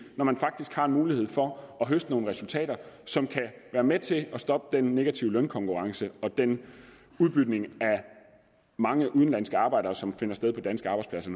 når man faktisk har mulighed for at høste nogle resultater som kan være med til at stoppe den negative lønkonkurrence og den udbytning af de mange udenlandske arbejdere som finder sted på danske arbejdspladser